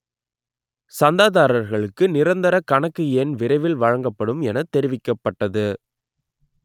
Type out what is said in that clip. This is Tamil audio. சந்தாதாரர்களுக்கு நிரந்தர கணக்கு எண் விரைவில் வழங்கப்படும் என்று தெரிவிக்கப்பட்டது